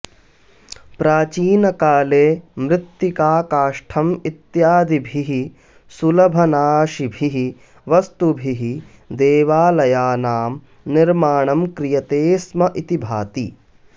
प्राचीनकाले मृत्तिका काष्ठम् इत्यादिभिः सुलभनाशिभिः वस्तुभिः देवालयानां निर्माणं क्रियते स्म इति भाति